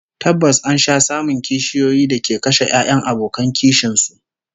Tabbas an sha samun kishiyoyi da ke kashe 'ya'yan abokan kishin su